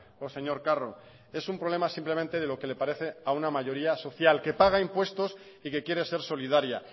o señor carro es un problema simplemente de lo que le parece a una mayoría social que paga impuestos y que quiere ser solidaria